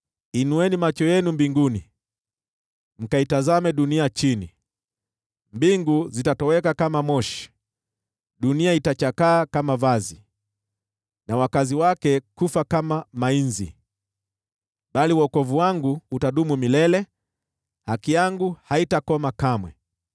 Inueni macho yenu mbinguni, mkaitazame dunia chini; mbingu zitatoweka kama moshi, dunia itachakaa kama vazi, na wakazi wake kufa kama mainzi. Bali wokovu wangu utadumu milele, haki yangu haitakoma kamwe.